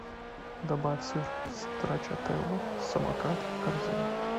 добавь сыр страчателла самокат в корзину